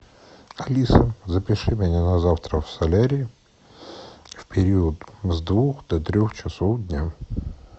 алиса запиши меня на завтра в солярий в период с двух до трех часов дня